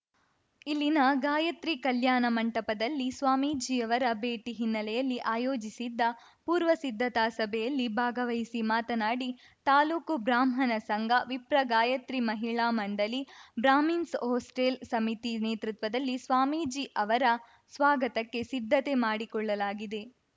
ಇಲ್ಲಿನ ಗಾಯತ್ರಿ ಕಲ್ಯಾಣ ಮಂಟಪದಲ್ಲಿ ಸ್ವಾಮೀಜಿಯವರ ಭೇಟಿ ಹಿನ್ನೆಲೆಯಲ್ಲಿ ಆಯೋಜಿಸಿದ್ದ ಪೂರ್ವಸಿದ್ದತಾಸಭೆಯಲ್ಲಿ ಭಾಗವಹಿಸಿ ಮಾತನಾಡಿ ತಾಲೂಕು ಬ್ರಾಹ್ಮಣ ಸಂಘ ವಿಪ್ರ ಗಾಯಿತ್ರಿ ಮಹಿಳಾ ಮಂಡಳಿ ಬ್ರಾಹ್ಮಿನ್ಸ್‌ ಹಾಸ್ಟೆಲ್‌ ಸಮಿತಿ ನೇತೃತ್ವದಲ್ಲಿ ಸ್ವಾಮೀಜಿ ಅವರ ಸ್ವಾಗತಕ್ಕೆ ಸಿದ್ಧತೆ ಮಾಡಿಕೊಳ್ಳಲಾಗಿದೆ